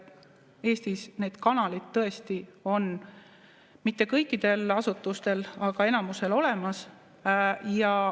Eestis need kanalid tõesti on, mitte kõikidel asutustel, aga enamusel olemas.